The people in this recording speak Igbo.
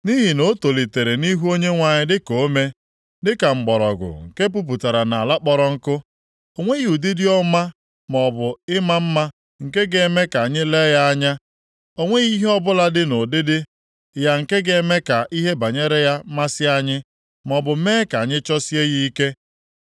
Nʼihi na o tolitere nʼihu Onyenwe anyị dịka ome, dịka mgbọrọgwụ nke puputara nʼala kpọrọ nkụ. O nweghị ụdịdị ọma maọbụ ịma mma nke ga-eme ka anyị lee ya anya. O nweghị ihe ọbụla dị nʼụdịdị ya nke ga-eme ka ihe banyere ya masị anyị, maọbụ mee ka anyị chọsie ya ike.